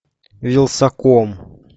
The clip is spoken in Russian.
вилсаком